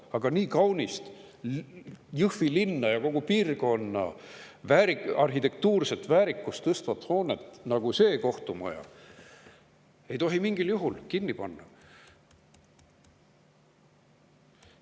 Aga nii kaunist Jõhvi linna ja kogu piirkonna arhitektuurilist väärikust tõstvat hoonet, nagu see kohtumaja on, ei tohi mingil juhul kinni panna.